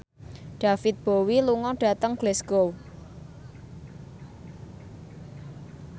David Bowie lunga dhateng Glasgow